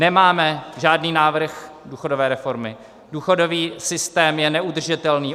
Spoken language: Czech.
Nemáme žádný návrh důchodové reformy, důchodový systém je neudržitelný.